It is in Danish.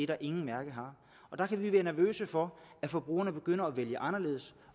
der ingen mærke har der kan vi være nervøse for at forbrugerne begynder at vælge anderledes